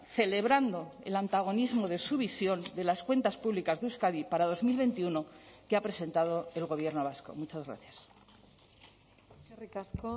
celebrando el antagonismo de su visión de las cuentas públicas de euskadi para dos mil veintiuno que ha presentado el gobierno vasco muchas gracias eskerrik asko